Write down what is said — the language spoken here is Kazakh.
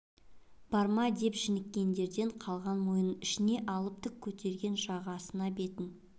бар ма деп жініккендерден қалған мойнын ішіне алып тік көтерген жағасына бетін